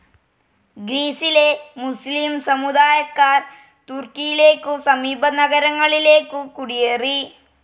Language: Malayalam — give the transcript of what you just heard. ഗ്രീസിലെ മുസ്ലീം സമുദായക്കാർ തുർക്കിയിലേക്കും സമീപ നഗരങ്ങളിലേക്കും കുടിയേറി